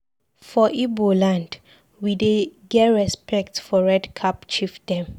For Ibo land, we dey get respects for red cap chief dem.